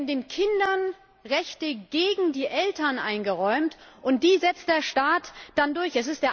Den Kindern werden Rechte gegen die Eltern eingeräumt, und die setzt der Staat dann durch.